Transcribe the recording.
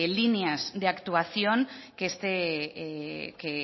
líneas de actuación que